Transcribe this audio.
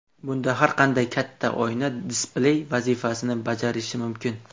Bunda har qanday katta oyna displey vazifasini bajarishi mumkin.